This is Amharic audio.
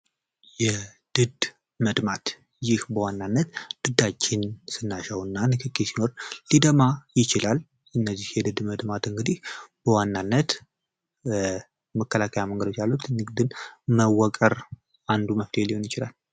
የድድ መድማት ይህ በዋናነት ድዳችን ስናሸው እና ንክኪ ሲኖር ሊደማ ይችላል። እነዚህ የድድ መድማት እንግዲህ በዋናነት መከላከያ መንገዶች ያሉት የግድ መወቀር አንዱ መፍትሄ ሊሆን ይችላል።